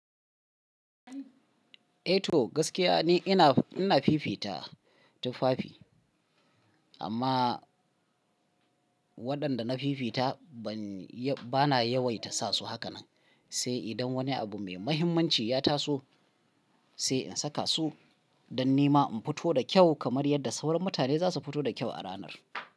Eh to gaskiya ne ina, ina fifita tufafi amma waɗanda na fifita bana yawaita sa su hakanen sai idan wani abu mai mahimmanci ya taso sai in saka su don nima in fito da kyau kamar yadda sauran mutane za su fito da kyau a ranar.